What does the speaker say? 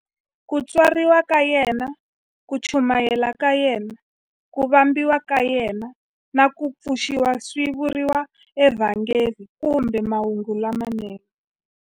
Ku tswariwa ka yena, ku chumayela ka yena, ku vambiwa ka yena, na ku pfuxiwa swi vuriwa eVhangeli kumbe"Mahungu lamanene".